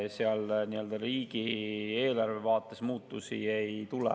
Seal nii-öelda riigieelarve vaates muutusi ei tule.